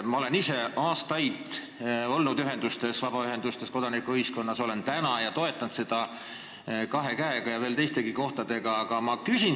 Ma olen ise aastaid olnud vabaühendustes, kodanikuühiskonnas, olen ka täna ning toetan neid kahe käega ja veel teistegi kohtadega.